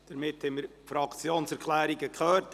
Somit haben wir die Fraktionserklärungen gehört.